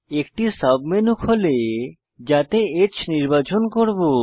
একটি সাবমেনু যাতে H নির্বাচন করব